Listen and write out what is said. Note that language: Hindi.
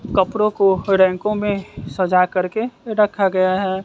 कपड़ों को रैंकों में सजाकर के रखा गया है।